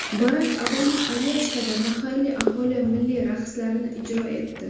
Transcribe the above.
Barak Obama Alyaskada mahalliy aholi milliy raqslarini ijro etdi .